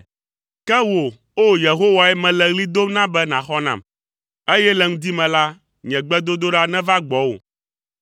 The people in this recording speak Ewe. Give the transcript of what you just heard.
Ke wò, o Yehowae, mele ɣli dom na be nàxɔ nam, eye le ŋdi me la, nye gbedodoɖa neva gbɔwò.